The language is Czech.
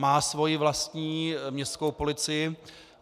Má svoji vlastní městskou policii.